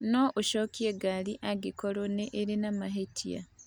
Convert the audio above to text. No ũcokie ngari angĩkorũo nĩ irĩ na mahĩtia.